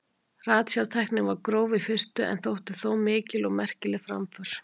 Ratsjártæknin var gróf í fyrstu en þótti þó mikil og merkileg framför.